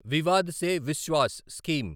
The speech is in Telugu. వివాద్ సే విశ్వాస్ స్కీమ్